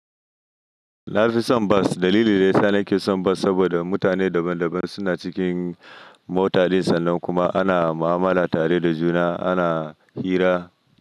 Na fi son bas. Dalili daya, na nake son bas saboda mutane daban-daban suna cikin mota dai sannan kuma ana mu'amala tare da juna, ana hira.